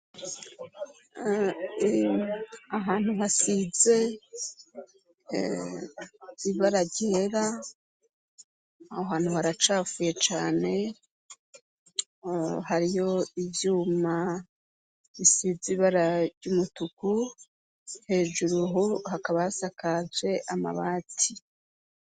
Ahantu hasize ibara ryera aho hantu haracapfuye cane hariyo ivyuma bisize ibara ry'umutuku hejuru buhuru hakabasakaye aje amabati.